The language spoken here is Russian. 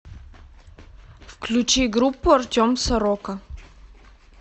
включи группу артем сорока